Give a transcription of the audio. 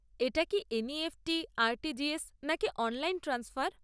এটা কি NEFT, RTGS, নাকি অনলাইন ট্রান্সফার?